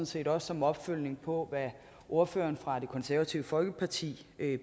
set også som opfølgning på hvad ordføreren fra det konservative folkeparti